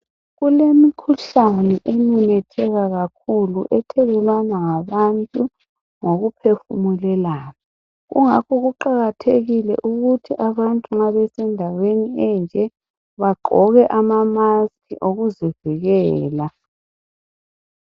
Kulemikhuhlane ememetheka kakhulu ethelelwana ngabantu ngokuphefumulelana ingakho kuqakathekile ukuthi abantu nxa besendaweni enje bengqoke ama musk okuzivikela